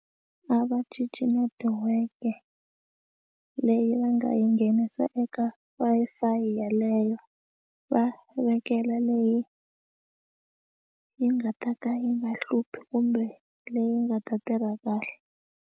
A va cinci netiweke leyi va nga yi nghenisa eka Wi-Fi yeleyo va vekela leyi yi nga ta ka yi nga hluphi kumbe leyi nga ta tirha kahle.